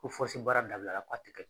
Ko fosi baara dabilara k'a tɛ